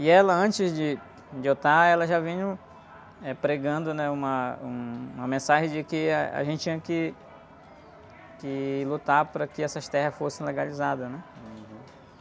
E ela, antes de, de eu estar, ela já vinham, eh, pregando, né? Uma, um, uma mensagem de que a, a gente tinha que, que lutar para que essas terras fossem legalizadas, né?hum.